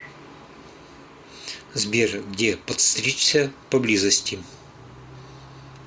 сбер где подстричься поблизости